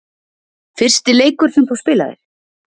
Fyrsti leikur sem þú spilaðir?